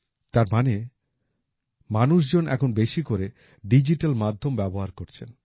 তার মানে মানুষজন এখন বেশি করে ডিজিটাল মাধ্যম ব্যবহার করছেন